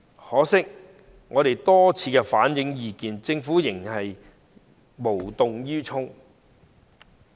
可惜，我們多次反映意見，政府仍無動於衷。